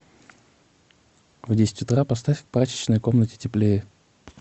в десять утра поставь в прачечной комнате теплее